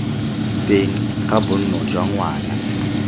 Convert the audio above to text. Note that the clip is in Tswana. teng ga bonno jwa ngwana